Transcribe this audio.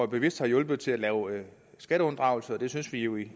bevidst har hjulpet til at lave skatteunddragelse og vi synes vi jo i